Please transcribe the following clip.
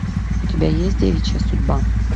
у тебя есть девичья судьба